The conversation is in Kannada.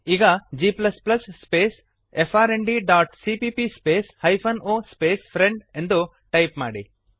ಈಗ g space friend dot CPP space hyphen o space friend ಎಂದು ಟೈಪ್ ಮಾಡಿರಿ